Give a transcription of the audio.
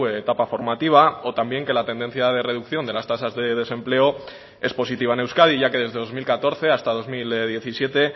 etapa formativa o también que la tendencia de reducción de las tasas de desempleo es positiva en euskadi ya que desde dos mil catorce hasta dos mil diecisiete